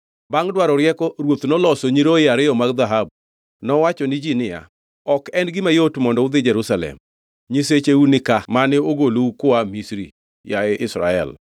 Bangʼ dwaro rieko, ruoth noloso nyiroye ariyo mag dhahabu. Nowacho ni ji niya, “Ok en gima yot mondo udhi Jerusalem. Nyisecheu nika mane ogolou kua Misri, yaye Israel.”